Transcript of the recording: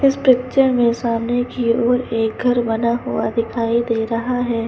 इस पिक्चर में सामने की ओर एक घर बना हुआ दिखाई दे रहा है।